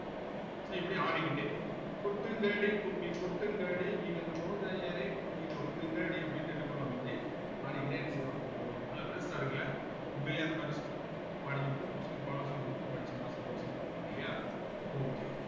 so இப்படி ஆடிக்கிட்டே கொட்டுங்கடி கும்மி கொட்டுங்கடி இளம் கோதையரே கும்மி கொட்டுங்கடி அப்படின்னு என்ன பண்ணுவாங்க இப்படி ஆடிக்கிட்டே என்ன செய்வாங்க போவாங்க நல்லா interest ஆ இருக்குல்ல உண்மையிலேயே அந்த மாதிரி படிக்கும் போது சொல்லி பாடம் சொல்லிக் குடுத்து படிச்சோம்ன்னா சந்தோஷமா இருக்கும் இல்லையா okay